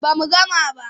Ba mu gama ba.